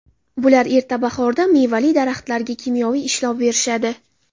Bular erta bahorda mevali daraxtlariga kimyoviy ishlov berishadi.